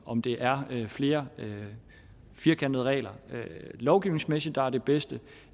om det er flere firkantede regler lovgivningsmæssigt der er det bedste